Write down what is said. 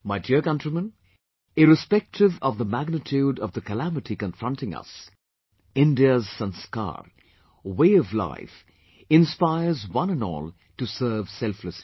My dear countrymen, irrespective of the magnitude of the calamity confronting us, India's sanskar...way of life inspires one and all to serve selflessly